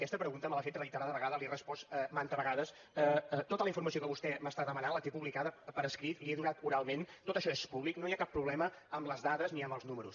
aquesta pregunta me l’ha fet reiterades vegades la hi he respost manta vegada tota la informació que vostè m’està demanant la té publicada per escrit la hi he donat oralment tot això és públic no hi ha cap problema amb les dades ni amb els números